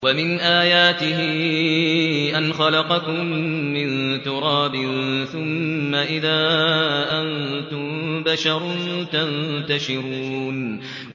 وَمِنْ آيَاتِهِ أَنْ خَلَقَكُم مِّن تُرَابٍ ثُمَّ إِذَا أَنتُم بَشَرٌ تَنتَشِرُونَ